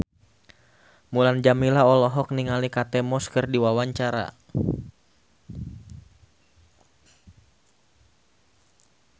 Mulan Jameela olohok ningali Kate Moss keur diwawancara